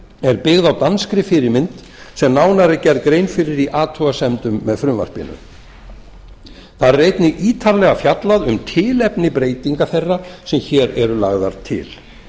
er byggð á danskri fyrirmynd sem nánar er gerð grein fyrir í athugasemdum með frumvarpinu þar er einnig ítarlega fjallað um tilefni breytinga þeirra sem hér eru lagðar til